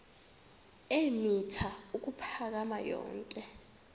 eemitha ukuphakama yonke